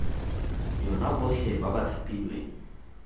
yona botlhe ba ba thapilweng